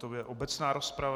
To je obecná rozprava.